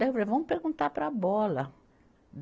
Daí eu falei, vamos perguntar para a bola.